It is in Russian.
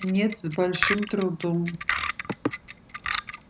нет с большим трудом